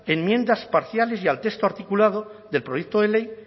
enmiendas parciales y al texto articulado del proyecto de ley